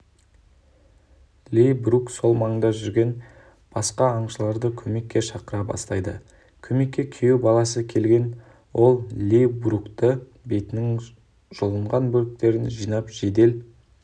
ли брук сол маңда жүрген басқааңшыларды көмекке шақыра бастайды көмекке күйеу баласы келген ол ли бруктың бетінің жұлынған бөліктерін жинап жедел